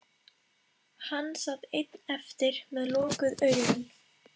Hann sat einn eftir með lokuð augun.